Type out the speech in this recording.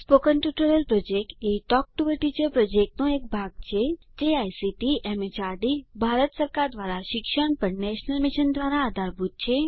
spoken tutorial project a talk to a teacher પ્રોજેક્ટનો એક ભાગ છે જે આઇસીટી એમએચઆરડી ભારત સરકાર દ્વારા શિક્ષણ પર નેશનલ મિશન દ્વારા આધારભૂત છે